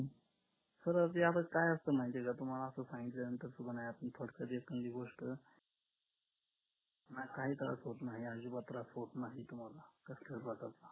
तर ते आता काय असतं माहितीये का तुम्हाला असं सांगितल्यानंतर तुम्हाला admit होता येत नाही पहिली गोष्ट काही त्रास होत नाही अजिबात त्रास होत नाही तुम्हाला